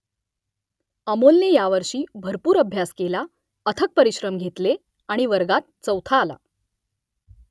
अमोलने यावर्षी भरपूर अभ्यास केला अथक परिश्रम घेतले आणि वर्गात चौथा आला